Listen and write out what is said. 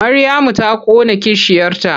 Maryamu ta ƙona kishiyarta.